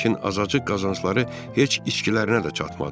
Lakin azacıq qazancları heç içkilərinə də çatmadı.